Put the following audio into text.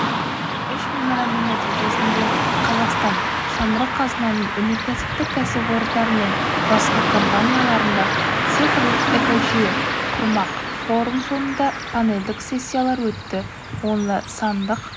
үш меморандум нәтижесінде қазақстан самұрық қазынаның өнеркәсіптік кәсіпорындары мен басқа компанияларда цифрлық экожүйе құрмақ форум соңында панельдік сессиялар өтті онда сандық